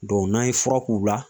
n'an ye fura k'u la .